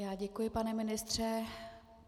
Já děkuji, pane ministře.